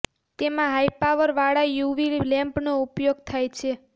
તેમાં high power વાળા U V lamp નો ઉપયોગ થાય છે